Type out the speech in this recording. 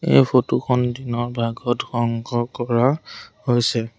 এই ফটো খন দিনৰ ভাগত সংগ্ৰহ কৰা হৈছে।